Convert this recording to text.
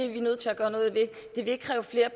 at vi er nødt til at gøre noget ved det vil ikke kræve flere